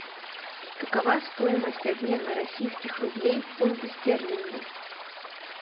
какова стоимость обмена российских рублей в фунты стерлинги